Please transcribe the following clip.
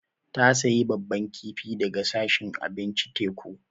Ta sayi babban kifi daga sashin abincin teku.